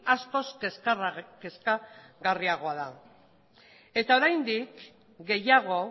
askoz kezkagarriagoa da eta oraindik gehiago